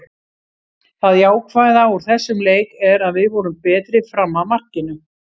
Það jákvæða úr þessum leik er að við vorum betri fram að markinu.